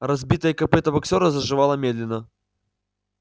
разбитое копыто боксёра заживало медленно